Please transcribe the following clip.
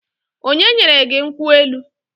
Onye nyere gị nkwụ elu?